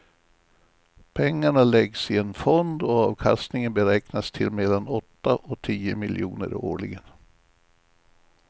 Pengarna läggs i en fond och avkastningen beräknas till mellan åtta och tio miljoner årligen.